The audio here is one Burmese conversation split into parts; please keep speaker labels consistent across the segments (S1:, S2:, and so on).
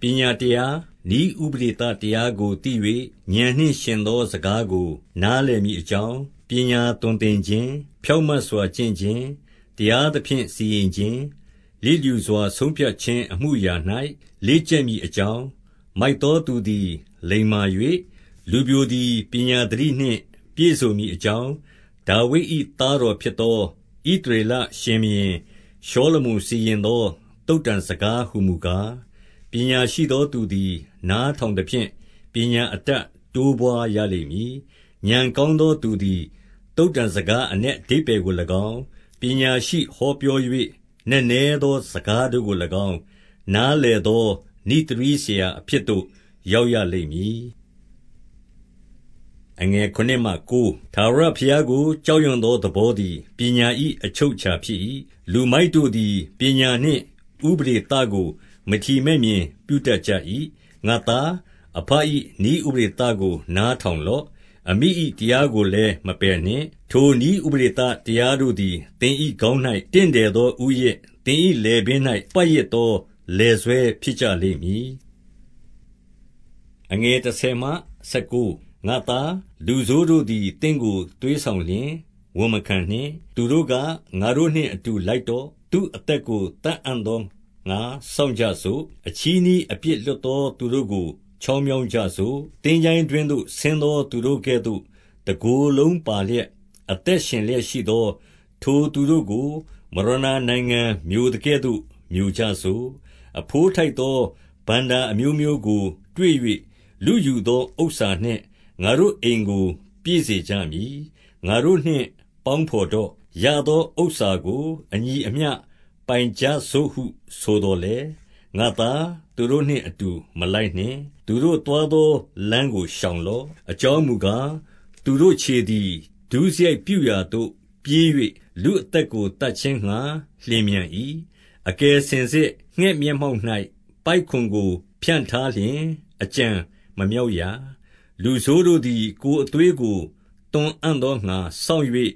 S1: ပညာတရား၊ နည်းဥပဒေသတရားကိုသိ၍၊ ဥာဏ်နှင့်ယှဉ်သော စကားကို နားလည်မည်အကြောင်း၊ 2 ပညာသွန်သင်ခြင်း၊ ဖြောင့်မတ်စွာ ကျင့်ခြင်း၊ တရား သဖြင့်စီရင်ခြင်း၊ 3 လျစ်လျူစွာဆုံဖြတ်ခြင်းအမှုအရာ၌ လေ့ကျက်မည်အကြောင်း၊ မိုက်သောသူသည် လိမ္မာ၍၊ လူပျိုသည် ပညာသတိနှင့်ပြည့်စုံမည်အကြောင်း၊ 4 ဒါဝိဒ်၏ သားတော်ဖြစ်သော ဣသရေလရှင်ဘုရင်ရှောလမုန် စီရင်သော သုတ္တံစကားဟူမူကား၊ 5 ပညာရှိသောသူသည် နားထောင်သဖြင့်၊ ပညာ အတတ်တိုးပွါးရလိမ့်မည်။ 6 ဥာဏ်ကောင်းသော သူသည် သုတ္တံစကားအနက်အဓိပ္ပါယ်ကို၎င်း၊ ပညာရှိဟောပြော၍ နက်နဲသောစကားတို့ကို၎င်း၊ နားလည်သော နိဿရည်း ဆရာအဖြစ်သို့ ရောက်ရလိမ့်မည်။ 7 ထာဝရဘုရားကို ကြောက်ရွံ့သောသဘောသည် ပညာ၏အချုပ်အခြာဖြစ်၏။ လူမိုက်တို့သည် ပညာနှင့်ဥပဒေသကို မထီမဲ့မြင်ပြုတတ်ကြ၏။ 8 ငါ့သား၊ အဘ၏နည်းဥပဒေသကို နားထောင်လော့။ အမိ၏တရားကိုလည်း မပယ်နှင့်။ 9 ထိုနည်းဥပဒေသတရားတို့သည် သင်၏ခေါင်း၌ တင့်တယ်သော ဦးရစ်၊ သင်၏လည်ပင်း၌ ပတ်ရစ်သော လည်ဆွဲဖြစ်ကြလိမ့်မည်။ 10 ငါ့သား၊ လူဆိုးတို့သည် သင့်ကိုသွေးဆောင်လျှင် ဝန်မခံနှင့်။ 11 သူတို့က ငါတို့နှင့်အတူလိုက်တော့။ သူ့အသက် ကိုသတ်အံ့သောငှါ စောင့်ကြစို့။ အချည်းနှီးအပြစ်လွတ် သော သူတို့ကို ချောင်းမြောင်းကြစို့။ 12 သင်္ချိုင်းတွင်းသို့ဆင်းသော သူတို့ကဲ့သို့ တကိုယ်လုံးပါလျက်၊ အသက်ရှင်လျက်ရှိသော ထိုသူတို့ကို မရဏာ နိုင်ငံမျိုသကဲ့သို့ မျိုကြစို့။ 13 အဘိုးထိုက်သော ဘဏ္ဍာအမျိုးမျိုးကိုတွေ့၍ လုယူသောဥစ္စာနှင့် ငါတို့အိမ်ကိုပြည့်စေကြမည်။ 14 ငါတို့နှင့် ပေါင်းဘော်တော့။ ရသောဥစ္စာကို အညီအမျှ ပိုင်ကြစို့ဟုဆိုသော်လည်း၊ 15 ငါ့သား၊ သူတို့နှင့်အတူ မလိုက်နှင့်။ သူတို့သွားသောလမ်းကို ရှောင်လော့။ 16 အကြောင်းမူကား၊ သူတို့ခြေသည် ဒုစရိုက်ပြုရာ သို့ပြေး၍၊ လူအသက်ကို သတ်ခြင်းငှါ လျင်မြန်၏။ 17 အကယ်စင်စစ်ငှက်မျက်မှောက်၌ ပိုက်ကွန်ကို ဖြန့်ထားလျှင် အကြံမမြောက်ရာ။ 18 လူဆိုးတို့သည် ကိုယ်အသွေးကို သွန်အံ့သောငှါ စောင့်၍၊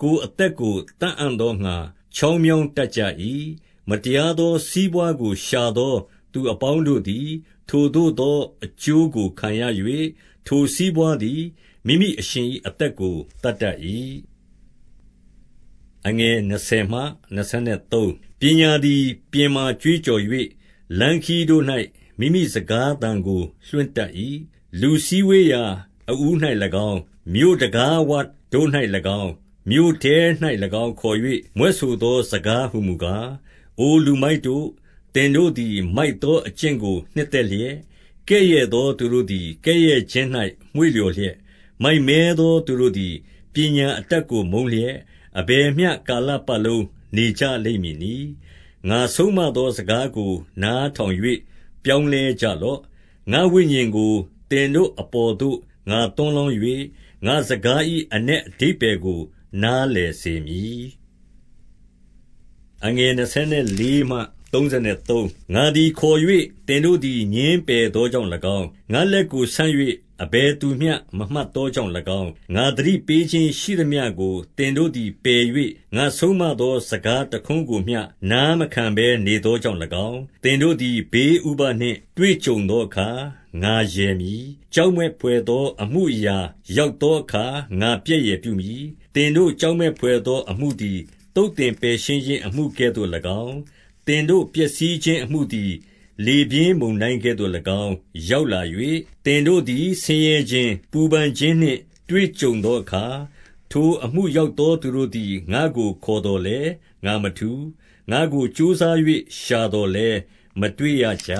S1: ကိုယ်အသက်ကို သတ်အံ့သောငှါ ချောင်း မြောင်းတတ်ကြ၏။ 19 မတရားသောစီးပွါးကို ရှာသောသူအပေါင်းတို့သည် ထိုသို့သော အကျိုးကိုခံရ၍၊ ထိုစီးပွါးသည် မိမိ အရှင်၏အသက်ကို သတ်တတ်၏။ 20 ပညာသည်ပြင်မှာကြွေးကြော်၍၊ လမ်းခရီးတို့၌ မိမိစကားသံကို လွှင့်တတ်၏။ 21 လူစည်းဝေးရာ အဦး၌၎င်း၊ မြို့တံခါးဝတို့၌၎င်း၊ မြို့ထဲ၌၎င်း ခေါ်၍မြွက်ဆိုသောစကားဟူမူကား၊ 22 အိုလူမိုက်တို့၊ သင်တို့သည်မိုက်သောအကျင့်ကို နှစ်သက်လျက်၊ ကဲ့ရဲ့သောသူတို့သည် ကဲ့ရဲ့ခြင်း၌ မွေ့ လျော်လျက်၊ မိုက်မဲသောသူတို့သည် ပညာအတတ်ကို မုန်းလျက်၊ အဘယ်မျှကာလပတ်လုံးနေကြလိမ့်မည်နည်း။ 23 ငါဆုံးမသော စကားကို နားထောင်၍ ပြောင်း လဲကြလော့။ ငါ့ဝိညာဉ်ကို သင်တို့အပေါ်သို့ ငါသွန်း လောင်း၍၊ ငါ့စကား၏အနက်အဓိပ္ပါယ်ကို နားလည် စေမည်။ 24 ငါသည်ခေါ်၍ သင်တို့သည် ငြင်းပယ်သော ကြောင့်၎င်း၊ ငါ့လက်ကိုဆန့်၍ အဘယ်သူမျှမမှတ်သော ကြောင့်၎င်း၊ 25 ငါသတိပေးခြင်းရှိသမျှကို သင်တို့သည်ပယ်၍၊ ငါဆုံးမသော စကားတခွန်းကို နားမခံဘဲနေသောကြောင့် ၎င်း၊ 26 သင်တို့သည် ဘေးဥပဒ်နှင့်တွေ့ကြုံသောအခါ ငါရယ်မည်။ ကြောက်မက်ဖွယ်သော အမှုရောက်သော အခါ ငါပြက်ယယ်ပြုမည်။ 27 သင်တို့ ကြောက်မက်ဘွယ်သော အမှုသည် သုတ်သင်ပယ်ရှင်းခြင်းအမှုကဲ့သို့၎င်း၊ သင်တို့ပျက်စီးခြင်း အမှုသည် လေပြင်းမုန်တိုင်းကဲ့သို့၎င်း ရောက်လာ၍၊ သင်တို့သည်ဆင်းရဲခြင်း၊ ပူပန်ခြင်းနှင့် တွေ့ကြုံသော အခါ၊ 28 ထိုအမှုရောက်သောသူတို့သည် ငါ့ကိုခေါ်သော် လည်း ငါမထူး။ ငါ့ကို ကြိုးစား၍ ရှာသော်လည်း မတွေ့ ရကြ။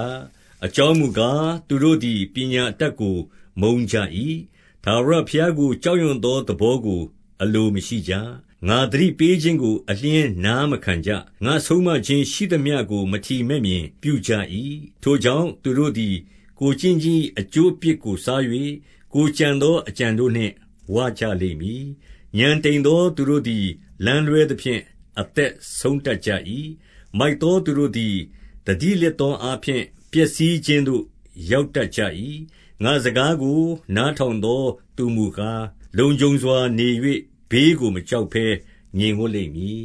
S1: 29 အကြောင်းမူကား၊ သူတို့သည် ပညာအတတ်ကိုမုန်းကြ၏။ ထာဝရဘုရားကို ကြောက်ရွံ့သော သဘောကို အလိုမရှိကြ။ 30 ငါသတိပေးခြင်းကို အလျှင်းနားမခံကြ။ ငါဆုံးမ ခြင်းရှိသမျှကို မထီမဲ့မြင်ပြုကြ၏။ 31 ထိုကြောင့်သူတို့သည် ကိုယ်ကျင့်ခြင်း၏ အကျိုး အပြစ်ကိုစား၍၊ ကိုယ်ကြံသော အကြံတို့နှင့် ဝကြလိမ့် မည်။ 32 ဥာဏ်တိမ်သောသူတို့သည် လမ်းလွဲသဖြင့် အသက်ဆုံးတတ်ကြ၏။ မိုက်သောသူတို့သည် သတိလစ် သောအားဖြင့် ပျက်စီးခြင်းသို့ ရောက်တတ်ကြ၏။ 33 ငါ့စကားကို နားထောင်သောသူမူကား လုံခြုံစွာ နေ၍၊ ဘေးကို မကြောက်ဘဲငြိမ်ဝပ်လိမ့်မည်